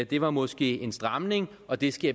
det var måske en stramning og det skal